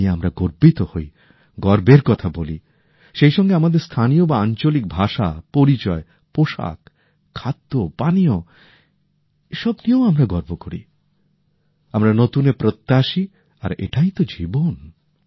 যা নিয়ে আমরা গর্বিত হই গর্বের কথা বলি সেই সঙ্গে আমাদের স্থানীয় বা আঞ্চলিক ভাষা পরিচয় পোশাক খাদ্য পানীয় এসব নিয়েও আমরা গর্ব করি আমরা নতুনের প্রত্যাশী আর এটাই তো জীবন